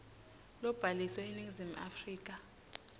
lobhaliswe eningizimu afrika